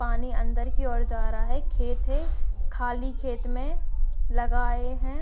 पानी अंदर की ओर जा रहा है खेत है खाली खेत में लगाए है।